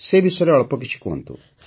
ସେ ବିଷୟରେ ଅଳ୍ପ କିଛି କୁହନ୍ତୁ